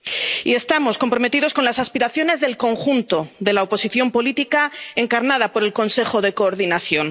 Y estamos comprometidos con las aspiraciones del conjunto de la oposición política, encarnada por el Consejo de Coordinación.